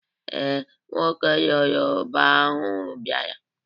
Ee, nwoke Yoroba ahụ bịara.